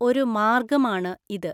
ഒരു മാര്ഗ്ഗമാണ് ഇത്.